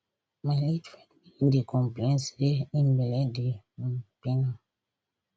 my late friend begin dey complain say im belle dey um pain am